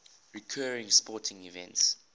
recurring sporting events